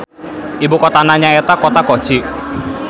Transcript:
Ibukotana nyaeta Kota Kochi.